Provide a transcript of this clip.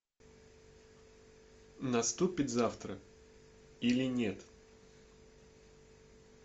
наступит завтра или нет